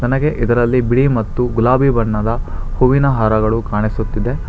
ಹಾಗೆ ಇದರಲ್ಲಿ ಬಿಳಿ ಮತ್ತು ಗುಲಾಬಿ ಬಣ್ಣದ ಹೂವಿನ ಹಾರಗಳು ಕಾಣಿಸುತ್ತಿದೆ.